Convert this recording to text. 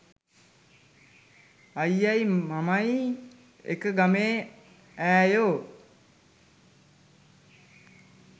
අයියයි මමයි එක ගමේ ඈයෝ